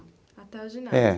Até o ginásio? É.